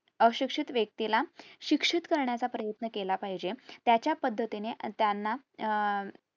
अशिक्षित व्यक्तीला शिक्षित करण्याचा प्रयत्न केला पाहिजे त्याच्या पद्धतीने त्यांना अह